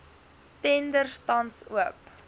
tenders tans oop